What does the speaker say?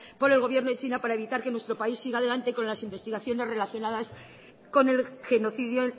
por el gobierno de china para evitar que nuestro país siga adelante con las investigaciones relacionadas con el genocidio